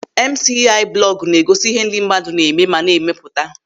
Emusiai blọgụ na-egosi ihe ndị mmadụ na-eme ma na-emepụta.